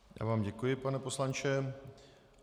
Já vám děkuji, pane poslanče.